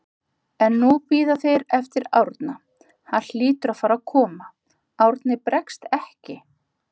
En nú bíða þeir eftir Árna, hann hlýtur að fara að koma, Árni bregst ekki.